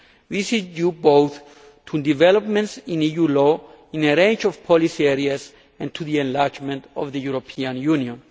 This is due both to developments in EU law in a range of policy areas and to the enlargement of the European Union.